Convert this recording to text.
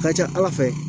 Ka ca ala fɛ